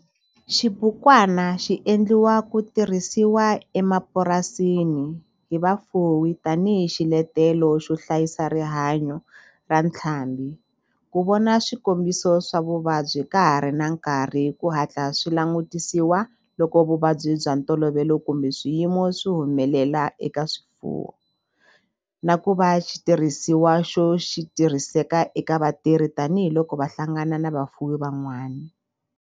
Xibukwana xi endliwe ku tirhisiwa emapurasini hi vafuwi tani hi xiletelo xo hlayisa rihanyo ra ntlhambhi, ku vona swikombiso swa vuvabyi ka ha ri na nkarhi ku hatla swi langutisiwa loko vuvabyi bya ntolovelo kumbe swiyimo swi humelela eka swifuwo, na ku va xitirhisiwa xo tirhiseka eka vatirhi tani hi loko va hlangana na vafuwi van'wana.